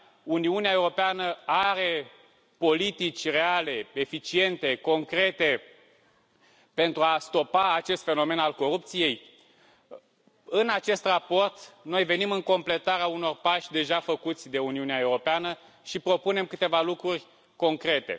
Uniunea Europeană are politici reale, eficiente, concrete pentru a stopa acest fenomen al corupției? În acest raport noi venim în completarea unor pași deja făcuți de Uniunea Europeană și propunem câteva lucruri concrete.